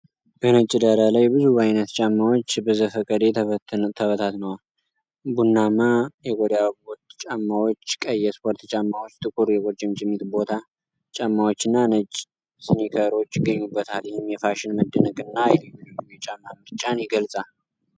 በነጭ ዳራ ላይ ብዙ ዓይነት ጫማዎች በዘፈቀደ ተበታትነዋል። ቡናማ የቆዳ ቦት ጫማዎች፣ ቀይ የስፖርት ጫማዎች፣ ጥቁር የቁርጭምጭሚት ቦት ጫማዎችና ነጭ እስኒከሮች ይገኙበታል። ይህም የፋሽን መደነቅንና የልዩ ልዩ የጫማ ምርጫን ይገልጻል።